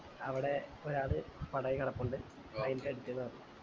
അവിടെ ഒരാള് പടായി കെടപ്പുണ്ട് വയിലിൻറെ അട്ത്ത് ന്ന് പറഞ്ഞു